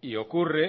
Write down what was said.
y ocurre